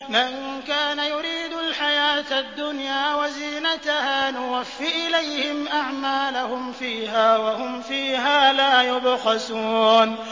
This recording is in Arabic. مَن كَانَ يُرِيدُ الْحَيَاةَ الدُّنْيَا وَزِينَتَهَا نُوَفِّ إِلَيْهِمْ أَعْمَالَهُمْ فِيهَا وَهُمْ فِيهَا لَا يُبْخَسُونَ